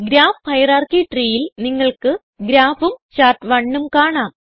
graph hierarchy treeയിൽ നിങ്ങൾക്ക് Graphഉം Chart1ഉം കാണാം